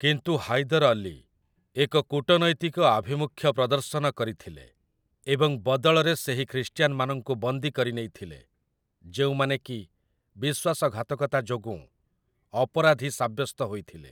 କିନ୍ତୁ ହାଇଦର୍ ଅଲୀ ଏକ କୂଟନୈତିକ ଆଭିମୁଖ୍ୟ ପ୍ରଦର୍ଶନ କରିଥିଲେ ଏବଂ ବଦଳରେ ସେହି ଖ୍ରୀଷ୍ଟିୟାନ୍‌ମାନଙ୍କୁ ବନ୍ଦୀ କରିନେଇଥିଲେ ଯେଉଁମାନେକି ବିଶ୍ୱାସଘାତକତା ଯୋଗୁଁ ଅପରାଧୀ ସାବ୍ୟସ୍ତ ହୋଇଥିଲେ ।